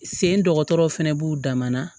Sen dɔgɔtɔrɔ fɛnɛ b'u dan na